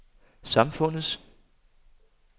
samfundets